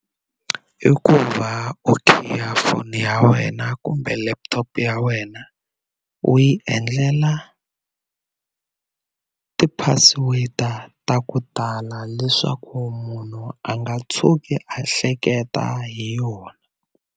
I ku va u khiya foni ya wena kumbe laptop ya wena u yi endlela ti-password ta ku tala leswaku munhu a nga tshuki a hleketa hi yona.